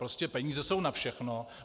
Prostě peníze jsou na všechno.